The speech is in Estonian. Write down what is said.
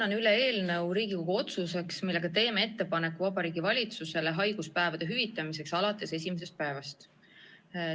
Annan üle Riigikogu otsuse eelnõu, millega teeme Vabariigi Valitsusele ettepaneku haiguspäevade hüvitamiseks alates esimesest päevast.